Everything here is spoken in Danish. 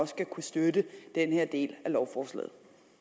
skal kunne støtte denne del af lovforslaget